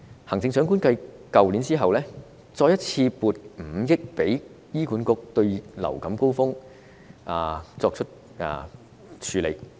行政長官繼去年後再一次性撥出5億元給醫管局應對流感高峰期。